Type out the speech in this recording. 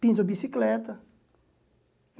Pinto a bicicleta.